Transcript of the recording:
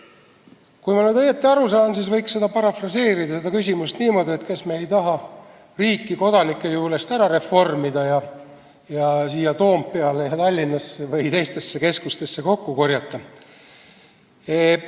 Kui ma nüüd õigesti aru saan, siis võiks seda küsimust parafraseerida niimoodi, et kas me ei taha riiki kodanike juurest ära reformida ja siia Toompeale, Tallinnasse või teistesse keskustesse kokku korjata.